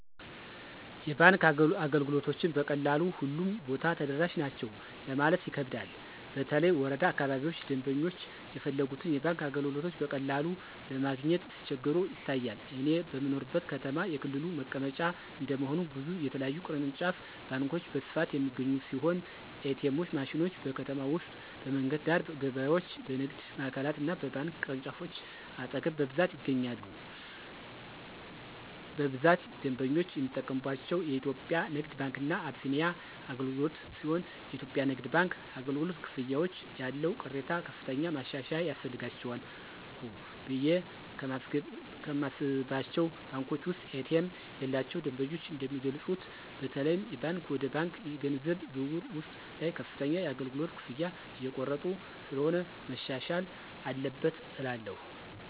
የባንክ አገልግሎቶችን በቀላሉ ሁሉም ቦታ ተደራሽ ናቸው ለማለት ይከብዳል በተለይ ወረዳ አካባቢዎች ደምበኞች የፈለጉትን የባንክ አገልግሎቶች በቀላሉ ለማግኘት ሲቸገሩ ይታያል። እኔ በምኖርበት ከተማ የክልሉ መቀመጫ እንደመሆኑ ብዙ የተለያዩ ቅርንጫፍ ባንኮች በስፋት የሚገኙ ሲሆን ኤ.ቲ.ኤም ማሽኖች: በከተማ ውስጥ በመንገድ ዳር፣ በገበያዎች፣ በንግድ ማዕከሎች እና በባንክ ቅርንጫፎች አጠገብ በብዛት ይገኛሉ። በብዛት ደንበኞች የሚጠቀምባቸው የኢትዮጽያ ንግድ ባንክ እና አቢሲኒያ አገልግሎትሲሆንየኢትዮጵያ ንግድ ባንክ አገልግሎት፨ ክፍያዎች ያለው ቅሬታ ከፍተኛ ማሻሻያ ያስፈልጋቸዋልቑ ብየ ከማስባቸው ባንኮች ውስጥ ኤ.ቲ.ኤም የሌላቸው ደንበኞች እንደሚገልጹት በተለይም የባንክ ወደ ባንክ የገንዘብ ዝውውር ውስጥ ላይ ከፍተኛ የአገልግሎት ክፍያዎች እየተቆረጡ ስለሆነ መሻሻል አለበት እላለሁ።